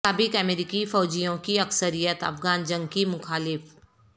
سابق امریکی فوجیوں کی اکثریت افغان جنگ کی مخالف